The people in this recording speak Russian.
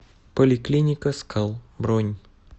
поликлиника скал бронь